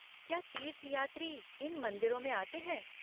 क्या तीर्थयात्री इन मंदिरों में आते हैं?